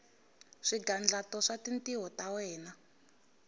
swigandlato swa tintiho ta wena